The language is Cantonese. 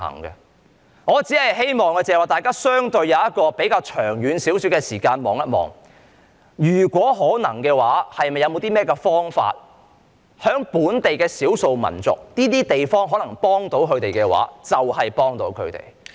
因此，我只希望大家相應以比較長遠的眼光來看待此事，如果可能的話，看看有甚麼方法可以幫助本地的少數民族，能幫助到他們的話就盡量給予幫助。